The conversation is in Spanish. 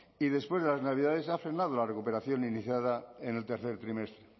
y después de las navidades ha frenado la recuperación iniciada en el tercer trimestre